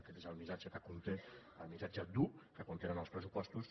aquest és el missatge que conté el missatge dur que contenen els pressupostos